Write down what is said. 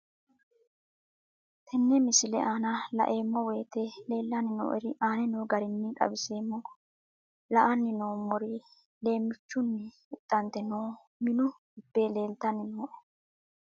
Tenne misile aana laeemmo woyte leelanni noo'ere aane noo garinni xawiseemmo. La'anni noomorri leemichchunni huxxante noo minu gibbe leelitanni nooe.